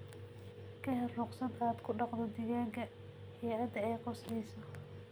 Ka hel ruqsad aad ku dhaqdo digaagga hay'adda ay khusayso.